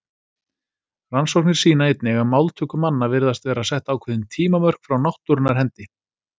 Rannsóknir sýna einnig að máltöku manna virðast vera sett ákveðin tímamörk frá náttúrunnar hendi.